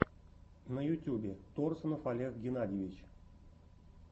на ютьюбе торсунов олег геннадьевич